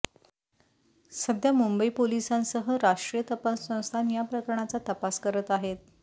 सध्या मुंबई पोलिसांसह राष्ट्रीय तपास संस्थान या प्रकरणाचा तपास करत आहेत